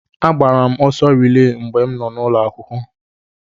Agbara m ọsọ rilee mgbe m nọ n'ụlọ akwụkwọ.